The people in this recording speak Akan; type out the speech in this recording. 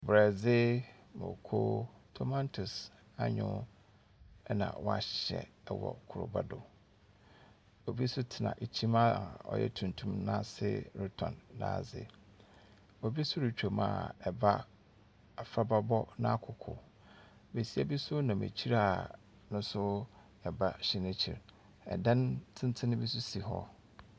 Borɔdze, mmoko, tomatoes, anyow na wɔahyɛ wɔ koraba do. Obi nso tena kyim a ɔyɛ tuntum ase retɔn n'adze. Obi nso retwam a ɛba afraba bɔ n'akoko. Besia nso nam akyire a, ɔno nso ba hyɛ n'ekyir. Dan tenten bi nso si hɔ.